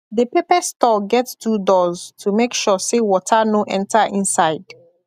the pepper store get two doors to make sure say water no enter inside